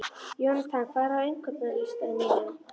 Jónatan, hvað er á innkaupalistanum mínum?